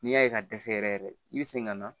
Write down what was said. N'i y'a ye ka dɛsɛ yɛrɛ yɛrɛ i bɛ segin ka na